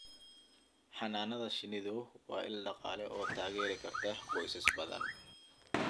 Xannaanada shinnidu waa il dhaqaale oo taageeri karta qoysas badan.